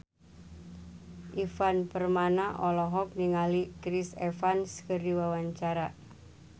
Ivan Permana olohok ningali Chris Evans keur diwawancara